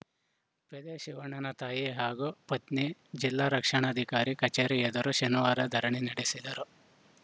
ಪೇದೆ ಶಿವಣ್ಣನ ತಾಯಿ ಹಾಗೂ ಪತ್ನಿ ಜಿಲ್ಲಾ ರಕ್ಷಣಾಧಿಕಾರಿ ಕಚೇರಿ ಎದುರು ಶನಿವಾರ ಧರಣಿ ನಡೆಸಿದರು